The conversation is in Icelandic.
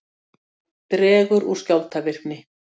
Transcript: Dregur úr skjálftavirkni